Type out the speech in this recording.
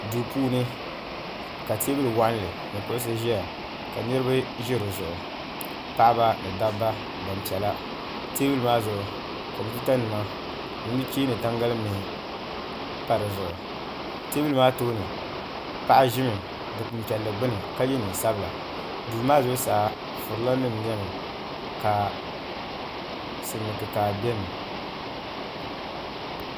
Duu puuni ka teebuli waɣanli ni kuɣusi ʒɛya ka niraba ʒi di zuɣu paɣaba ni dabba gbanpiɛla teebuli maa zuɣu kompiuta nima ni nuchee ni tangali mihi pa di zuɣu teebuli maa tooni Paɣa ʒimi dikpuni piɛlli gbuni ka yɛ neen sabila duu maa zuɣusaa furila nim niɛmi ka silmiin kikaa biɛni